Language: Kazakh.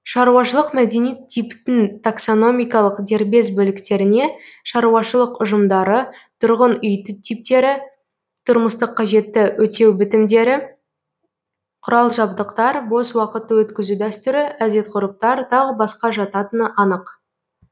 шаруашылық мәдени типтің таксономикалық дербес бөліктеріне шаруашылық ұжымдары тұрғын үй типтері тұрмыстық қажетті өтеу бітімдері құрал жабдықтар бос уақытты өткізу дәстүрі әдет ғұрыптар тағы басқа жататыны анық